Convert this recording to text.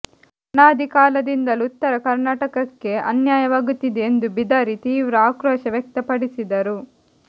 ಅನಾದಿ ಕಾಲದಿಂದಲೂ ಉತ್ತರ ಕರ್ನಾಟಕಕ್ಕೆ ಅನ್ಯಾಯವಾಗುತ್ತಿದೆ ಎಂದು ಬಿದರಿ ತೀವ್ರ ಆಕ್ರೋಶ ವ್ಯಕ್ತಪಡಿಸಿದರು